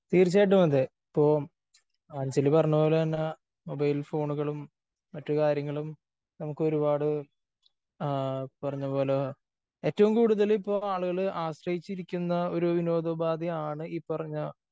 തീർച്ചയായിട്ടും അതേ. ഇപ്പോ അഞ്ജലി പറഞ്ഞ പോലെ തന്നെ മൊബൈൽ ഫോണുകളും മറ്റ് കാര്യങ്ങളും നമുക്ക് ഒരുപാട് ആ പറഞ്ഞ പോലെ ഏറ്റവും കൂടുതല് ഇപ്പോ ആളുകള് ആശ്രയിച്ചിരിക്കുന്ന ഒരു വിനോദ ഉപാധി ആണ് പറഞ്ഞ